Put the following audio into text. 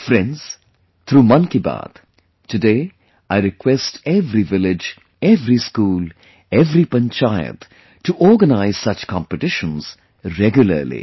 Friends, through 'Mann Ki Baat', today I request every village, every school, everypanchayat to organize such competitions regularly